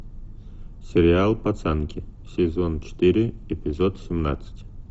сериал пацанки сезон четыре эпизод семнадцать